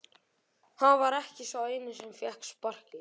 Hann var ekki sá eini sem fékk sparkið.